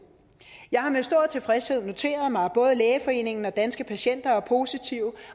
jeg har med stor tilfredshed noteret mig at både lægeforeningen og danske patienter er positive